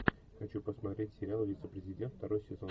хочу посмотреть сериал вице президент второй сезон